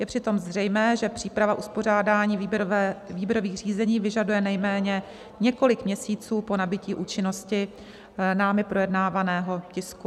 Je přitom zřejmé, že příprava uspořádání výběrových řízení vyžaduje nejméně několik měsíců po nabytí účinnosti námi projednávaného tisku.